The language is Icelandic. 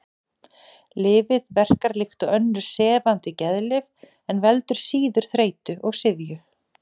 Lyfið verkar líkt og önnur sefandi geðlyf en veldur síður þreytu og syfju.